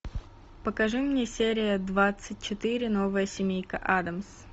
покажи мне серия двадцать четыре новая семейка адамс